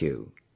Thank you